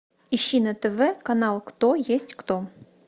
ищи на тв канал кто есть кто